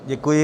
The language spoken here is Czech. Děkuji.